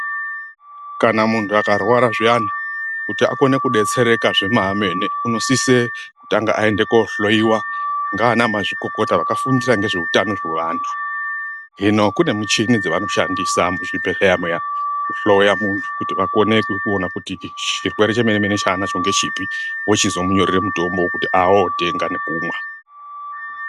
Kana muntu akarwara zviani, kuti akone kudetsereka zvemene, unosise kutanga aende kohloyiwa ngaana mazvikokota vakafundira ngezvehutano hwavantu. Hino kunemichini dzavanoshandisa muzvibhedleya muya kuhloya muntu kuti vakone kuwona kuti chirwere chemene mene chaanacho ngechipi wochizomunyorera mutombo kuti awotenga nekumwa.